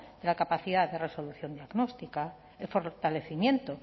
de la capacidad de resolución diagnóstica el fortalecimiento